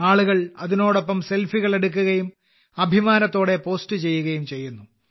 ആളുകൾ അതിനോടൊപ്പം സെൽഫികൾ എടുക്കുകയും അഭിമാനത്തോടെ പോസ്റ്റ് ചെയ്യുകയും ചെയ്യുന്നു